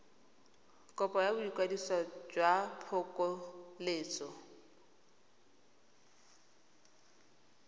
kopo ya boikwadiso jwa phokoletso